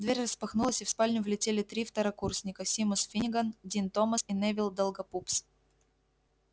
дверь распахнулась и в спальню влетели три второкурсника симус финниган дин томас и невилл долгопупс